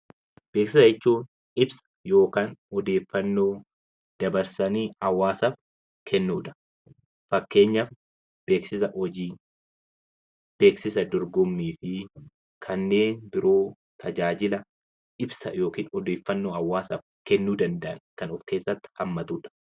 Beeksisa jechuun ibsa yookaan odeeffannoo dabarsanii hawaasaaf kennuudha. Fakkeenyaaf beeksisa hojii, beeksisa dorgommii fi kanneen biroo tajaajila ibsa yookiin odeeffannoo hawaasaaf kennuu danda'an kan of keessatti hammatudha.